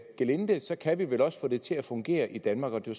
gelinde kan vi vel også få det til at fungere i danmark det